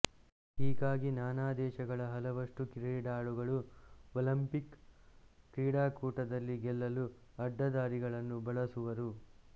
ಹೀಗಾಗಿ ನಾನಾ ದೇಶಗಳ ಹಲವಷ್ಟು ಕ್ರೀಡಾಳುಗಳು ಒಲಿಂಪಿಕ್ ಕ್ರೀಡಾಕೂಟದಲ್ಲಿ ಗೆಲ್ಲಲು ಅಡ್ಡದಾರಿಗಳನ್ನು ಬಳಸುವರು